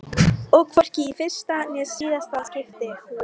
Og hvorki í fyrsta né síðasta skipti.